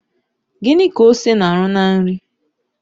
Gịnị ka ose na-arụ na nri?